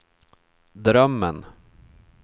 drömmen